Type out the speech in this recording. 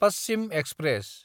Paschim express